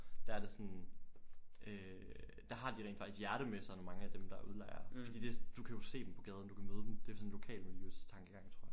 Der er det sådan øh der har de rent faktisk hjerte med sig mange af dem der udlejer fordi det du kan jo se dem på gaden du kan jo møde dem det er sådan en lokalmiljø tankegang tror jeg